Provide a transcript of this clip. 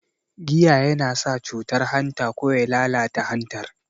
Giya yana sa cutar hanta ko ya lalata hantar